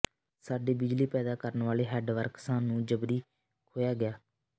ਸਾਡੇ ਬਿਜਲੀ ਪੈਦਾ ਕਰਨ ਵਾਲੇ ਹੈੱਡਵਰਕਸਾਂ ਨੂੰ ਜ਼ਬਰੀ ਖੋਹਿਆ ਗਿਆ